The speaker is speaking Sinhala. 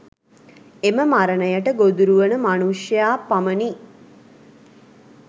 එම මරණයට ගොදුරුවන මනුෂ්‍යයා පමණි.